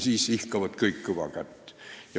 Siis ihkavad kõik kõva kätt.